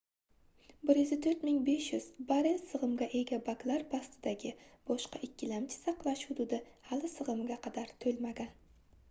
104 500 barell sigʻimga ega baklar pastidagi boshqa ikkilamchi saqlash hududi hali sigʻimiga qadar toʻlmagan